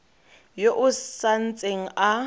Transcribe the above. yo o sa ntseng a